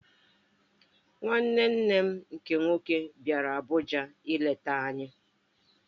Nwanne nne m nke nwoke bịara Abuja ileta anyị.